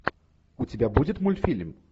у тебя будет мультфильм